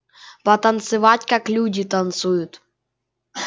потанцевать как люди танцуют